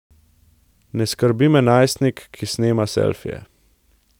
Ne skrbi me najstnik, ki snema selfije.